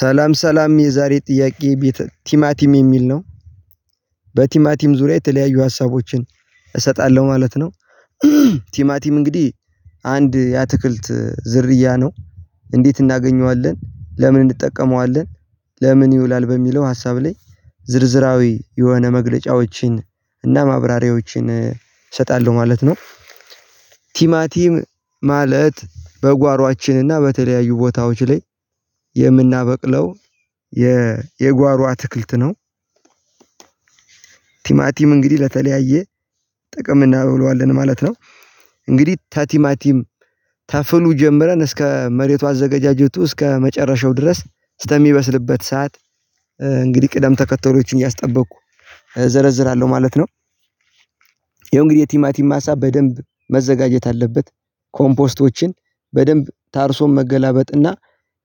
ሰላም ሰላም የዛሬ ጥያቄ ቤት ቲማቲም የሚል ነው በቲማቲም ዙሪያ የተለያዩ ሀሳቦችን እሰጣለሁ ማለት ነው። ቲማቲም እንግዲህ አንድ የአትክልት ዝርያ ነው እንዴት እናገኘዋለን ለምን እንጠቀመዋለን? ለምን ይውላል በሚለው ሀሳብ ላይ ዝርዝራዊ የሆነ መግለጫዎችን እና ማብራሪያዎችን እሰጣለሁ ማለት ነው። ቲማቲም ማለት በጓሯችን እና በተለያዩ ቦታዎች ላይ የምናበቅለው የ የጓሮ አትክልት ነው። ቲማቲም እንግዲህ ለተለያየ ጥቅም እናውለዋለን ማለት ነው። እንግዲህ ተቲማቲም ተፍሉ ጀምረን እስከ መሬቱ አዘጋጃጀቱ እስከ መጨረሻው ድረስ ስተሚበስልበት ሰዓት እንግዲህ ቅደም ተከተለዎችን እያስጠበቅኩ እዘረዝራለሁ ማለት ነው። ይኸው እንግዲህ የቲማቲም ማሳ በደንብ መዘጋጀት አለበት። ኮምፖስቶችን በደንብ ታርሶ መገላበጥ እና